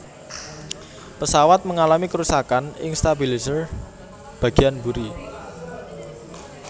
Pesawat mengalami kerusakan ing stabilizer bagiyan mburi